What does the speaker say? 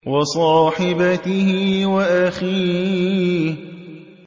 وَصَاحِبَتِهِ وَأَخِيهِ